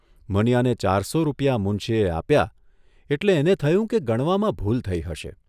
મનીયાને ચારસો રૂપિયા મુનશીએ આપ્યા એટલે એને થયું કે ગણવામાં ભૂલ થઇ હશે.